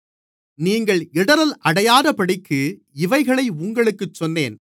நீங்கள் இடறல் அடையாதபடிக்கு இவைகளை உங்களுக்குச் சொன்னேன்